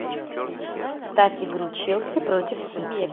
ставь игру челси против сити